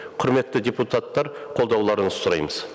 құрметті депутаттар қолдауларыңызды сұраймыз